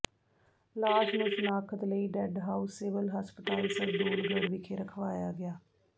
ਲਾਸ਼ ਨੂੰ ਸ਼ਨਾਖਤ ਲਈ ਡੈਡ ਹਾਊਸ ਸਿਵਲ ਹਸਪਤਾਲ ਸਰਦੂਲਗੜ ਵਿਖੇ ਰਖਵਾਇਆ ਗਿਆ